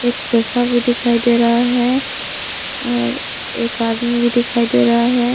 Sofa भी दिखाई दे रहा है और एक आदमी भी दिखाई दे रहा है।